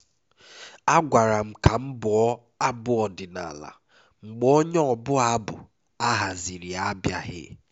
a gwara m ka m bụo abụ ọdịnala mgbe onye ọbụ abụ a haziri abịaghị